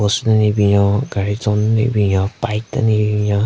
den le binyon gaari tson den le binyon bike den le bin binyon.